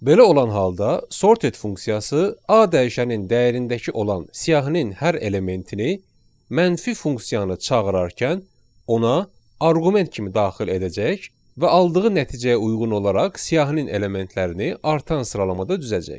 Belə olan halda sorted funksiyası A dəyişənin dəyərindəki olan siyahının hər elementini mənfi funksiyanı çağırarkən ona arqument kimi daxil edəcək və aldığı nəticəyə uyğun olaraq siyahının elementlərini artan sıralamada düzəcək.